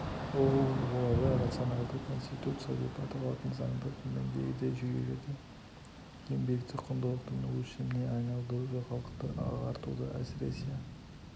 оуэн оларды рационалды конституция деп аталатын заңда төмендегідей жүйеледі еңбекті құндылықтың өлшеміне айналдыру халықты ағартуда әсіресе